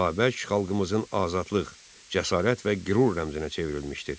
Babək xalqımızın azadlıq, cəsarət və qürur rəmzinə çevrilmişdir.